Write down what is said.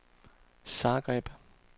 Zagreb